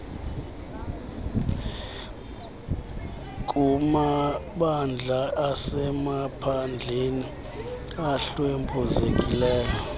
kumabandla asemaphandleni ahlwempuzekileyo